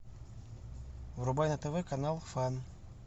врубай на тв канал фан